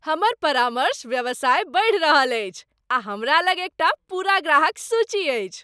हमर परामर्श व्यवसाय बढ़ि रहल अछि, आ हमरा लग एकटा पूरा ग्राहक सूची अछि।